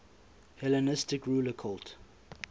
hellenistic ruler cult